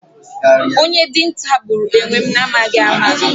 Onye dinta gburu enwem na amaghi ama